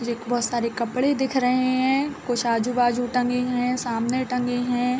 मुझे बहुत सारे कपड़े देख रहे है कुछ आजु-बाजू टंगे है सामने टंगे हैं।